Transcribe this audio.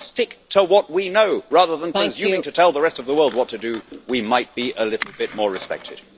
If we stick to what we know, rather than presuming to tell the rest of the world what to do, we might be a little bit more respected.